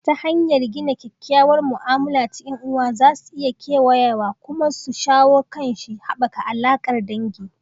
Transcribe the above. Ta hanyar gina kyakkyawar mu'amala ta 'yan'uwa za su iya kewayawa kuma su shawo kan kishi, haɓaka alaƙar dangi